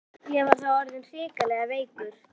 Ég var þá orðinn hrikalega veikur.